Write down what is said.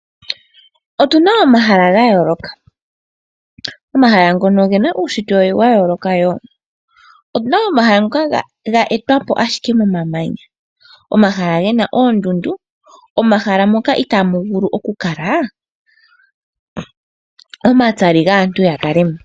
Otuna omahala gayooloka. Omahala ngono ogena uunshitwe wayooloka wo. Opuna omahala ngoka ga tetwapo ashike komamanya. Omahala gena oondundu, omahala ngoka itaaga vulu okukala omatsali gaantu.